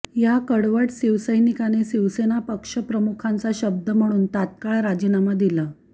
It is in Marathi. या कडवट शिवसैनिकाने शिवसेना पक्षप्रमुखांचा शब्द म्हणून तात्काळ राजीनामा दिला